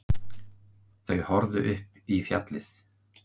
Þau horfðu upp í fjallið.